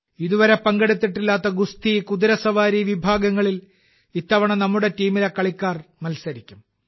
ഇതുവരെ പങ്കെടുത്തിട്ടില്ലാത്ത ഗുസ്തി കുതിരസവാരി വിഭാഗങ്ങളിൽ ഇത്തവണ നമ്മുടെ ടീമിലെ കളിക്കാർ മത്സരിക്കും